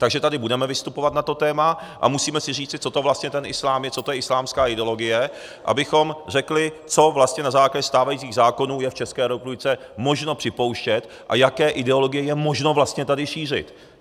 Takže tady budeme vystupovat na to téma a musíme si říci, co to vlastně ten islám je, co to je islámská ideologie, abychom řekli, co vlastně na základě stávajících zákonů je v České republice možno připouštět a jaké ideologie je možno vlastně tady šířit.